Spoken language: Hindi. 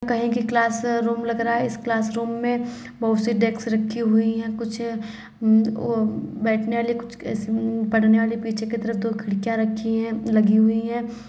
कहीं की क्लासरूम लग रहा है इस क्लासरूम में बहुत सी डेस्क रखी हुई हैं कुछ वो बैठने वाली कुछ पढ़ने वाली पीछे की तरफ दो खिड़कियाँ रखी हैंलगी हुई हैं ।